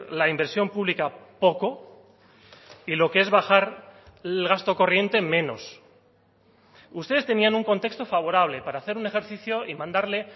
la inversión pública poco y lo que es bajar el gasto corriente menos ustedes tenían un contexto favorable para hacer un ejercicio y mandarle